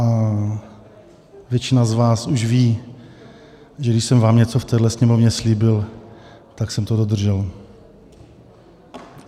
A většina z vás už ví, že když jsem vám něco v téhle Sněmovně slíbil, tak jsem to dodržel.